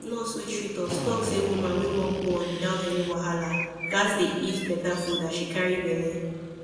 nurse wey treat us talk say woman wey wan born without any wahala gats dey eat better food as she carry belle